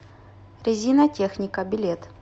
резинотехника билет